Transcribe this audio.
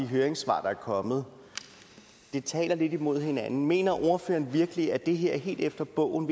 høringssvar der er kommet det taler lidt imod hinanden mener ordføreren virkelig at det her er helt efter bogen